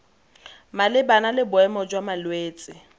malebana le boemo jwa malwetse